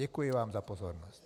Děkuji vám za pozornost.